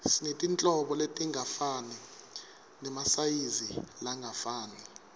sinetinhlobo letingafani nemasayizi langafani